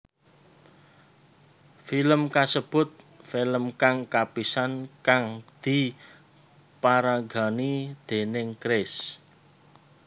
Film kasebut film kang kapisan kang diparagani déning Chris